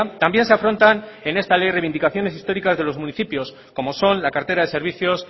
también se afrontan en esta ley reivindicaciones históricas de los municipios como son la cartera de servicios